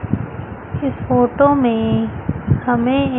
इस फोटो में हमें एक--